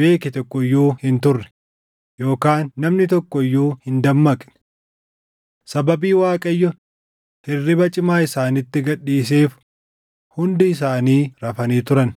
beeke tokko iyyuu hin turre yookaan namni tokko iyyuu hin dammaqne. Sababii Waaqayyo hirriba cimaa isaanitti gad dhiiseef hundi isaanii rafanii turan.